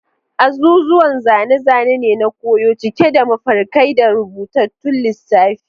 Azuzuwan zane-zane ne na koyo, cike da mafarkai da rubutattun lissafi.